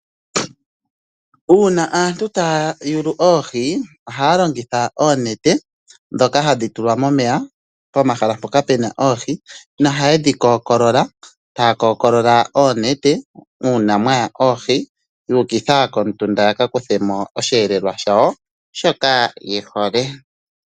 Uuna aantu taya yulu oohi ohaya longitha oonete ndhoka hadhi tulwa momeya pomahala mpoka puna oohi, nohaye dhi kookolola , taya kookolola oonete uuna mwaya oohi yuukitha komutunda yakakuthemo osheelelwa shawo shoka yehole.